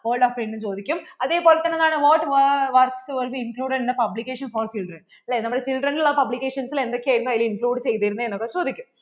hold up എന്ന് ചോദിക്കും അതുപോലെ തന്നെ what work was included publication for children അല്ലെ നമ്മൾ children ഉള്ള publication നിൽ എന്തൊക്കെ ആയിരുന്നു അതിൽ include ചെയ്തിരുന്നേ എന്ന് ഒക്കെ ചോദിക്കും